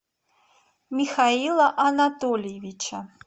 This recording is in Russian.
михаила анатольевича